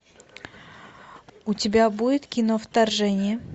у тебя будет кино вторжение